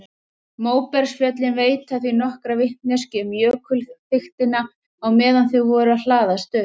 Móbergsfjöllin veita því nokkra vitneskju um jökulþykktina á meðan þau voru að hlaðast upp.